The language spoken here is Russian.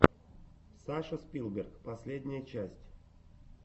саша спилберг последняя часть